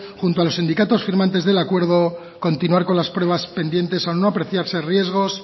junto a los sindicatos firmantes del acuerdo continuar con las pruebas pendientes al no apreciarse riesgos